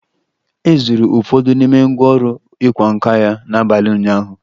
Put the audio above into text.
E zuru ụfọdụ n'ime ngwá ọrụ ịkwa nkà ya n'abalị ụnyaahụ